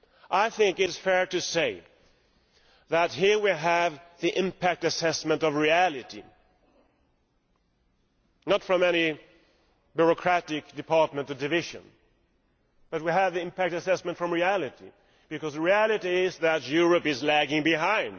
I think it is fair to say that here we have the impact assessment of reality not from any bureaucratic department or division, but we have the impact assessment from reality, because the reality is that Europe is lagging behind.